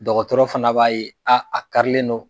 Dɔgɔtɔrɔ fana b'a ye a a karilen no.